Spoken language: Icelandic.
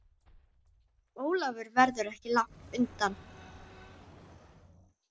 Ólafur verður ekki langt undan.